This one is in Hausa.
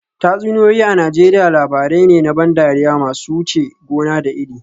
Tatsuniyoyi a Najeriya labarai ne na ban dariya masu wuce gona da iri